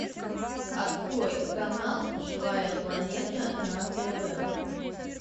открой канал живая планета на тв